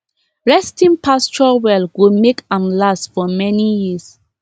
resting pasture well go make am last for many years